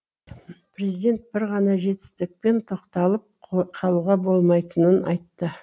президент бір ғана жетістікпен тоқталып қалуға болмайтынын айтты